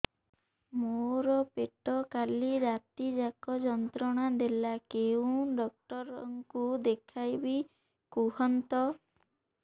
ମୋର ପେଟ କାଲି ରାତି ଯାକ ଯନ୍ତ୍ରଣା ଦେଲା କେଉଁ ଡକ୍ଟର ଙ୍କୁ ଦେଖାଇବି କୁହନ୍ତ